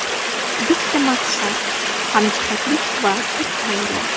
Bitta maqsad, hamjihatlik va bir oila.